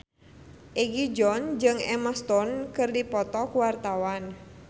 Egi John jeung Emma Stone keur dipoto ku wartawan